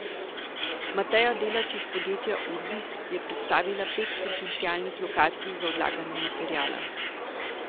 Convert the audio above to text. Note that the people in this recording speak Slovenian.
Mateja Delač iz podjetja Urbis je predstavila pet potencialnih lokacij za odlaganje materiala.